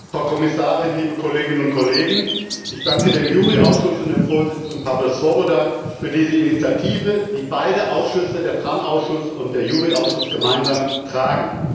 Herr Präsident, Frau Kommissarin, liebe Kolleginnen und Kollegen! Ich danke dem JURI Ausschuss und dem Vorsitzenden Pavel Svoboda für diese Initiative, die beide Ausschüsse der TRAN Ausschuss und der JURI Ausschuss gemeinsam tragen.